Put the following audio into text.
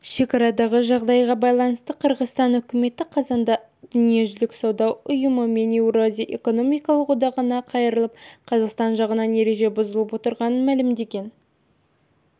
шекарадағы жағдайға байланысты қырғызстан үкіметі қазанда дүниежүзілік сауда ұйымы мен еуразия экономикалық одағына қайырылып қазақстан жағының ереже бұзып отырғанын мәлімдеген